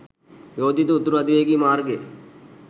යෝජිත උතුරු අධිවේගී මාර්ගය